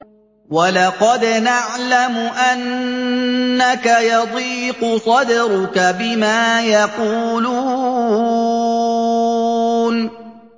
وَلَقَدْ نَعْلَمُ أَنَّكَ يَضِيقُ صَدْرُكَ بِمَا يَقُولُونَ